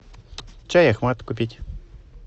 чай ахмад купить